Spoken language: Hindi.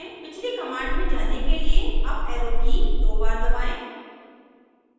पिछली कमांड में जाने के लिए अप एरो की दो बार दबाएं